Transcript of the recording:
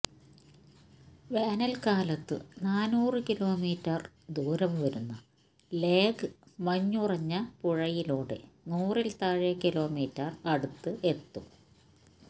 വേനൽക്കാലത്തു നാനൂറു കിലോമീറ്റർ ദൂരംവരുന്ന ലേഹ് മഞ്ഞുറഞ്ഞ പുഴയിലൂടെ നൂറിൽത്താഴെ കിലോമീറ്റർ അടുത്തു എത്തും